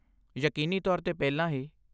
ਯਕੀਨੀ ਤੌਰ 'ਤੇ ਪਹਿਲਾਂ ਹੀ।